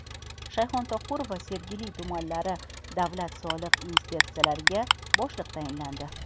Shayxontohur va Sergeli tumanlari davlat soliq inspeksiyalariga boshliq tayinlandi.